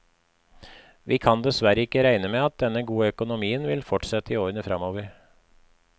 Vi kan dessverre ikke regne med at denne gode økonomien vil fortsette i årene fremover.